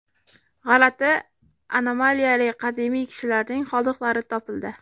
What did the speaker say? G‘alati anomaliyali qadimiy kishilarning qoldiqlari topildi.